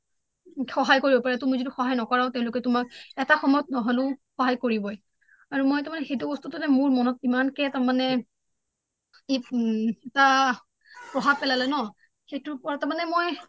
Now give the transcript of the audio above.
সহায় কৰিব পাৰে তুমি যদি সহায় নকৰায়ো তেওঁ লোকে তোমাক এটা সময়ত নহলেও সহায় কৰিবই আৰু মই তাৰ মানে সেইটো বস্তুতে মোৰ মনত ইমান কে তাৰ মানে এটা প্ৰভাৱ পেলালে ন সেইটোৰ ওপৰত তাৰ মানে মই